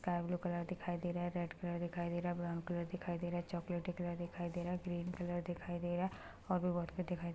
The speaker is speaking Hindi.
सकाय ब्लू कलर दिखाई दे रहा है रेड कलर दिखाई दे रहा है ब्राउन कलर दिखाई दे रहा है चॉकलेटी कलर दिखाई दे रहा है ग्रीन कलर दिखाई दे रहा है और भी बहुत कुछ दिखाई दे र --